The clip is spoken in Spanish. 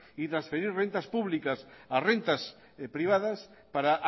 y transferir rentas públicas a rentas privadas para